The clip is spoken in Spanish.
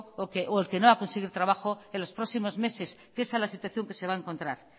o el que no va a conseguir trabajo en los próximos meses esa es la situación que se va a encontrar